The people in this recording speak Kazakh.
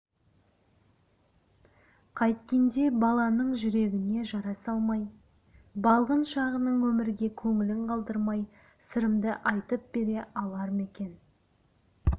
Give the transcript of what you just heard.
қайткенде баланың жүрегіне жара салмай балғын шағынан өмірге көңілін қалдырмай сырымды айтып бере алар ма екенмін